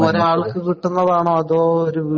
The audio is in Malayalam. ഒരാൾക്ക് കിട്ടുന്നതാണോ? അതോ?